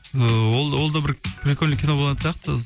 ыыы ол олда бір прикольный кино болатын сияқты